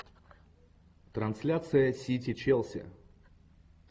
трансляция сити челси